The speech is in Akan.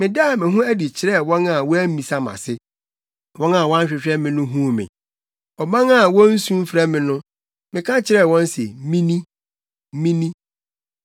“Medaa me ho adi kyerɛɛ wɔn a wɔammisa mʼase; wɔn a wɔnhwehwɛ me no huu me. Ɔman a wonsu mfrɛ me no, meka kyerɛɛ wɔn se, ‘Mini, Mini.’